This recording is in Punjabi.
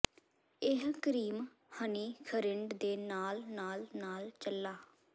ਇਹ ਕਰੀਮ ਹਨੀ ਖਰਿੰਡ ਦੇ ਨਾਲ ਨਾਲ ਨਾਲ ਚਲਾ